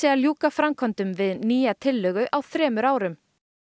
að ljúka framkvæmdum við nýja tillögu á þremur árum